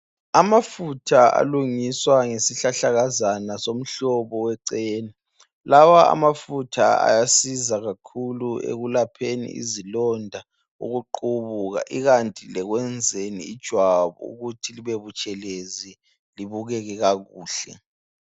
Amafutha alungiswa ngesihlahlakazana somhlobo we chena. Lawa amafutha asiza ekulapheni izilonda lokuqubuka. Ikanti lekwenzeni ijwabu ukuthi libebutshelezi libukeke kakuhla